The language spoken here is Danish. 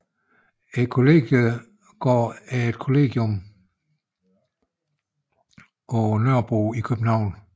Kollegiegården er et kollegium på Nørrebro i København